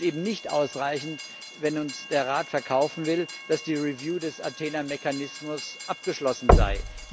Es ist eben nicht ausreichend, wenn uns der Rat verkaufen will, dass die Überprüfung des Mechanismus Athena abgeschlossen sei.